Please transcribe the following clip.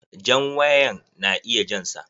Jan wayan na iya jan sa.